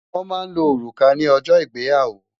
Wòn má n ló órúkà ni òjò igbéyàwó